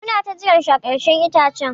Mu na ta jiran shi a ƙarkashin itacen.